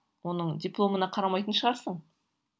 оның дипломына қарамайтын шығарсың